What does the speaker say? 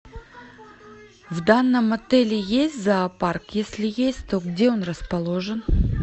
в данном отеле есть зоопарк если есть то где он расположен